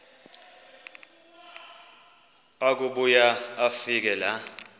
akubuya afike laa